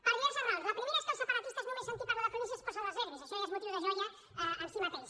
per diverses raons la primera és que els separatistes només sentir parlar de províncies es posen dels nervis això ja és motiu de joia en si mateix